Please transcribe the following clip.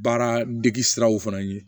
Baara degi siraw fana ye